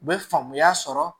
U bɛ faamuya sɔrɔ